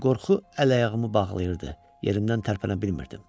Lakin qorxu əl-ayağımı bağlayırdı, yerimdən tərpənə bilmirdim.